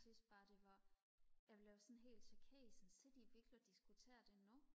jeg synes bare det var jeg blev sådan helt chokeret sådan sidder I virkelig og diskuterer det nu